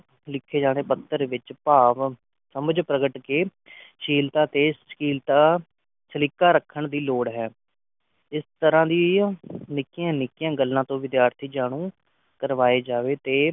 ਲਿਖੇ ਜਾਵੇ ਪੱਤਰ ਵਿਚ ਭਾਵ ਸਮਝ ਪ੍ਰਗਟ ਕੇ ਸ਼ੀਲਤਾ ਤੇ ਸਾਹਿਲਤਾ ਸਲਿਕਾ ਰੱਖਣ ਦੀ ਲੋੜ ਹੈ ਇਸ ਤਰਾਂ ਦੀ ਨਿੱਕਿਆ ਨਿੱਕਿਆ ਗੱਲਾਂ ਤੋਂ ਵਿਦਿਆਰਥੀ ਜਾਣੂ ਕਰਵਾਏ ਜਾਵੇ ਤੇ